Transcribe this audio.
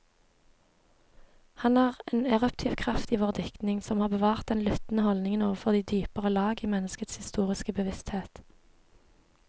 Han er en eruptiv kraft i vår diktning, som har bevart den lyttende holdning overfor de dypere lag i menneskets historiske bevissthet.